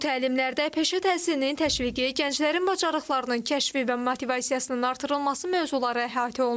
Bu təlimlərdə peşə təhsilinin təşviqi, gənclərin bacarıqlarının kəşfi və motivasiyasının artırılması mövzuları əhatə olunub.